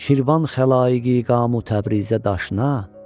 Şirvan xəlaiqi iqamü Təbrizə daşına.